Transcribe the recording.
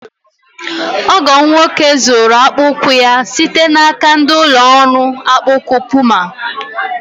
Ọgọ m nwoke zụụrụ akpa ụkwụ ya site n'aka ndị ụlọ ọrụ akpa ụkwụ Puma.